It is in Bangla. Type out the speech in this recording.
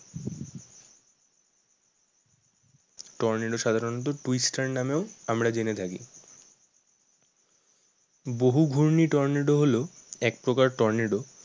টর্নেডো সাধারণত twist star নামেও আমরা জেনে থাকি। বহুঘূর্ণি টর্নেডো হলো এক প্রকার টর্নেডো